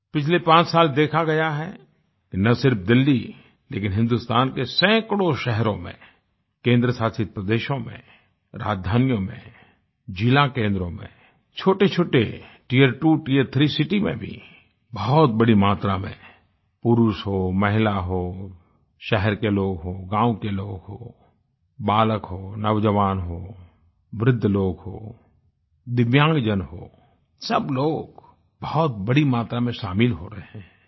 पिछले पांच साल देखा गया है न सिर्फ़ दिल्ली लेकिन हिन्दुस्तान के सैकड़ों शहरों में केंद्र शासित प्रदेशों में राजधानियों में जिला केन्द्रों में छोटेछोटे टियरटूटियर थ्री सिटी में भी बहुत बड़ी मात्रा में पुरुष हो महिला हो शहर के लोग हों गाँव के लोग हों बालक हो नौजवान हो वृद्ध लोग हों दिव्यांगजन हो सब लोग बहुत बड़ी मात्रा में शामिल हो रहे हैं